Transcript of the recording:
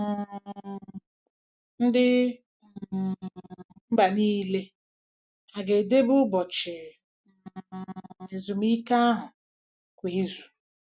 um Ndị um mba niile hà ga-edebe ụbọchị um ezumike ahụ kwa izu?